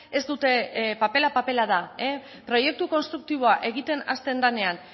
ez dute papela papela da proiektu konstruktiboa egiten hasten denean